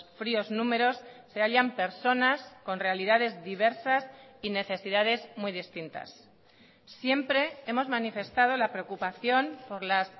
fríos números se hallan personas con realidades diversas y necesidades muy distintas siempre hemos manifestado la preocupación por las